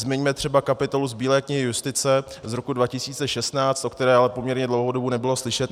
Zmiňme třeba kapitolu z Bílé knihy justice z roku 2016, o které ale poměrně dlouhou dobu nebylo slyšet.